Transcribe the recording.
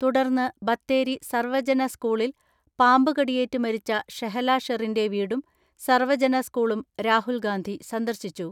തുടർന്ന് ബത്തേരി സർവജന സ്ക്കൂളിൽ പാമ്പ് കടിയേറ്റ് മരിച്ച ഷെഹല ഷെറിന്റെ വീടും സർവ്വജന സ്കൂളും രാഹുൽ ഗാന്ധി സന്ദർശിച്ചു.